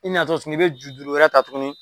I natɔ tuguni i bɛ juru wɛrɛ ta tuguni